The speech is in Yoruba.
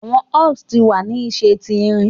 Awọn axes ti wa ni ṣe ti irin